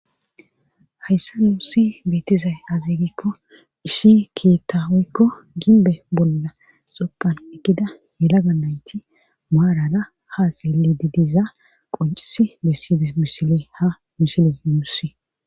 Hayssa nuussi beetizay aziigikko ishi keettawoykko ginbe bolla xoqan ekida helaga nayti maarara haaseyelididiza qoncisi besside mishile ha mishile muussi.